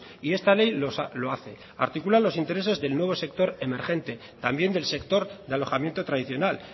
y esta ley lo hace articula los intereses del nuevo sector emergente también del sector de alojamiento tradicional